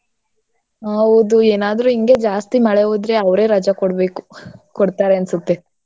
ಹೌದು ಏನಾದ್ರೂ ಹಿಂಗೆ ಜಾಸ್ತಿ ಮಳೆ ಹುಯ್ದ್ರೆ ಅವ್ರೆ ರಜಾ ಕೊಡ್ಬೇಕು ಕೊಡ್ತಾರೆ ಅನ್ಸುತ್ತೆ.